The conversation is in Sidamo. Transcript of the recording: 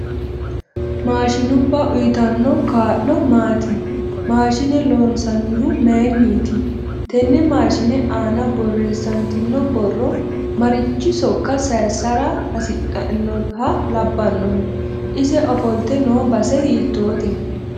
Mashinubba uyiitanno kaa'lo maati mashiine loonsanihu mayiiniti tenne mashiine aana boreesantino borro marichi sooka sayiisara hasidhinoha labbanohe ise ofoltte noo base hiitoote